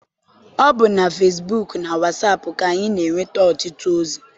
Ọ bụ na fesibuuku na wasaapụ ka anyị m'enweta ọtụtụ ozi.